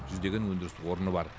жүздеген өндіріс орны бар